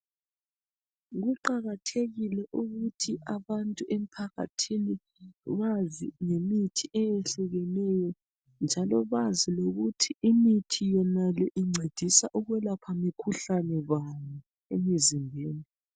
Kuqakathekile ukuthi abantu emphakathini bazi ngemithi eyehlukeneyo njalo bazi lokuthi imithi yonale incedisa ukwelapha mikhuhlane bani emizimbeni